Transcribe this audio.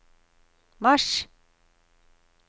mars